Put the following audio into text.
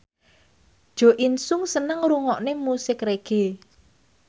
Jo In Sung seneng ngrungokne musik reggae